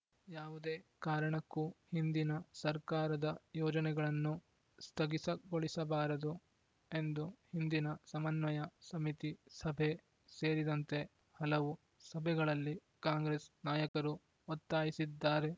ಯಾವುದೇ ಕಾರಣಕ್ಕೂ ಹಿಂದಿನ ಸರ್ಕಾರದ ಯೋಜನೆಗಳನ್ನು ಸ್ಥಗಿಸ ಗೊಳಿಸಬಾರದು ಎಂದು ಹಿಂದಿನ ಸಮನ್ವಯ ಸಮಿತಿ ಸಭೆ ಸೇರಿದಂತೆ ಹಲವು ಸಭೆಗಳಲ್ಲಿ ಕಾಂಗ್ರೆಸ್‌ ನಾಯಕರು ಒತ್ತಾಯಿಸಿದ್ದಾರೆ